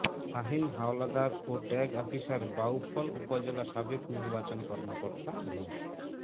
শাহিন হাওলাদার ও tag officer Bauphal upazila সাবেক নির্বাচন কর্মকর্তা মো